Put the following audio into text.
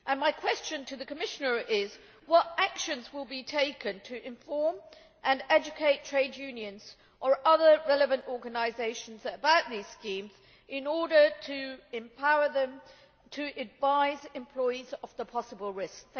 My question to the Commissioner is what actions will be taken to inform and educate trade unions or other relevant organisations about these schemes, in order to empower them and to advise employees of the possible risks?